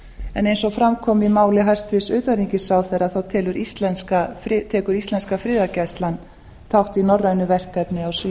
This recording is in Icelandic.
en eins og fram kom í máli hæstvirts utanríkisráðherra tekur íslenska friðargæslan þátt í norrænu verkefni á